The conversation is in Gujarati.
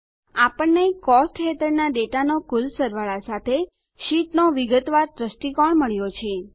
આપણને કોસ્ટ્સ હેઠળના ડેટાનો કુલ સરવાળા સાથે શીટ નો વિગતવાર દ્રષ્ટિકોણ મળ્યો છે